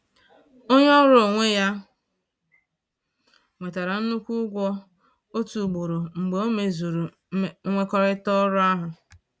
Onye ọrụ onwe ya nwetara nnukwu ụgwọ otu ugboro mgbe o mezuru nkwekọrịta ọrụ ahụ